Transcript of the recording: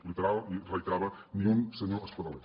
literal i reiterava ni un senyor espadaler